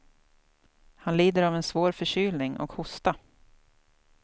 Han lider av en svår förkylning och hosta.